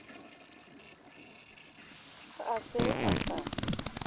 ha a se a sa